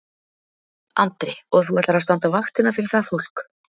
Andri: Og þú ætlar að standa vaktina fyrir það fólk?